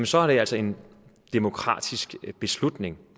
så er det altså en demokratisk beslutning